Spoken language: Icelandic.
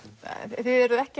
þið eruð ekki